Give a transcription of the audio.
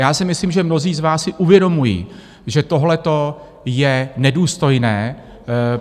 Já si myslím, že mnozí z vás si uvědomují, že tohleto je nedůstojné.